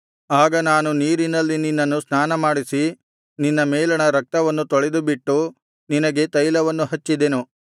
ಆಗ ನಾನು ನೀರಿನಲ್ಲಿ ನಿನ್ನನ್ನು ಸ್ನಾನಮಾಡಿಸಿ ನಿನ್ನ ಮೇಲಣ ರಕ್ತವನ್ನು ತೊಳೆದುಬಿಟ್ಟು ನಿನಗೆ ತೈಲವನ್ನು ಹಚ್ಚಿದೆನು